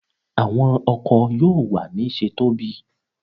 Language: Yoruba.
Awọn ọkọ yoo wa ni ṣe tobi